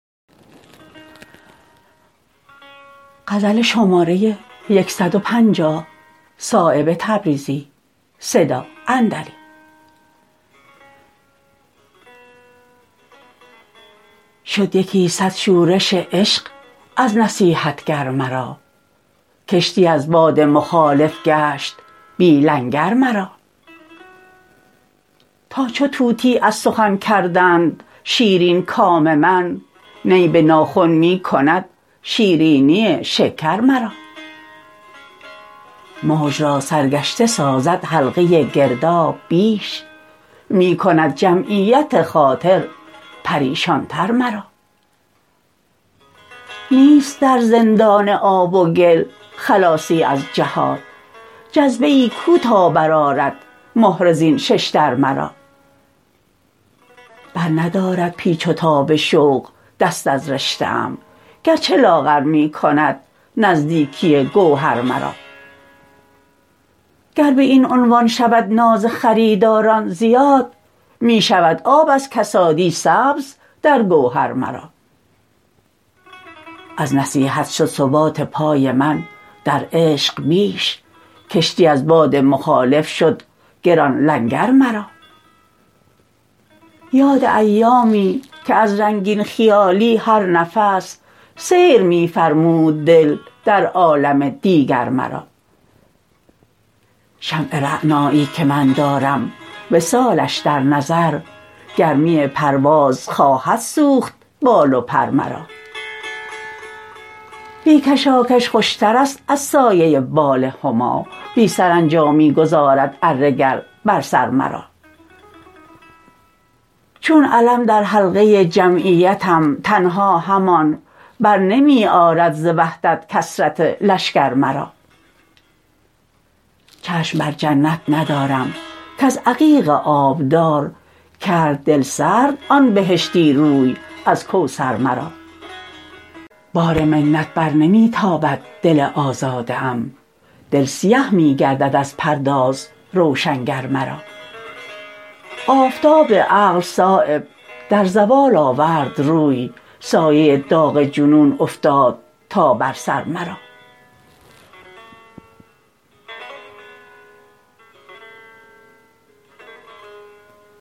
شد یکی صد شورش عشق از نصیحتگر مرا کشتی از باد مخالف گشت بی لنگر مرا تا چو طوطی از سخن کردند شیرین کام من نی به ناخن می کند شیرینی شکر مرا موج را سرگشته سازد حلقه گرداب بیش می کند جمعیت خاطر پریشان تر مرا نیست در زندان آب و گل خلاصی از جهات جذبه ای کو تا برآرد مهره زین ششدر مرا بر ندارد پیچ و تاب شوق دست از رشته ام گرچه لاغر می کند نزدیکی گوهر مرا گر به این عنوان شود ناز خریداران زیاد می شود آب از کسادی سبز در گوهر مرا از نصیحت شد ثبات پای من در عشق بیش کشتی از باد مخالف شد گران لنگر مرا یاد ایامی که از رنگین خیالی هر نفس سیر می فرمود دل در عالم دیگر مرا شمع رعنایی که من دارم وصالش در نظر گرمی پرواز خواهد سوخت بال و پر مرا بی کشاکش خوشترست از سایه بال هما بی سرانجامی گذارد اره گر بر سر مرا چون علم در حلقه جمعیتم تنها همان برنمی آرد ز وحدت کثرت لشکر مرا چشم بر جنت ندارم کز عقیق آبدار کرد دلسرد آن بهشتی روی از کوثر مرا بار منت بر نمی تابد دل آزاده ام دل سیه می گردد از پرداز روشنگر مرا آفتاب عقل صایب در زوال آورد روی سایه داغ جنون افتاد تا بر سر مرا